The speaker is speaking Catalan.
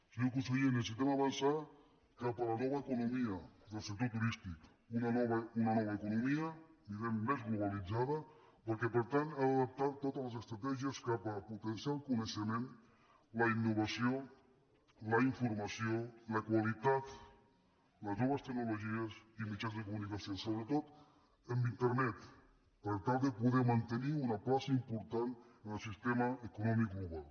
senyor conseller necessitem avançar cap a la nova economia del sector turístic una nova economia di·guem més globalitzada que per tant ha d’adaptar to·tes les estratègies cap a potenciar el coneixement la innovació la informació la qualitat les noves tecno·logies i mitjans de comunicació sobretot amb internet per tal de poder mantenir una plaça important en el sistema econòmic global